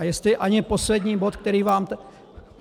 A jestli ani poslední bod, který vám...